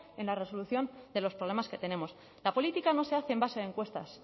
en la resolución de los problemas que tenemos la política no se hace en base a encuestas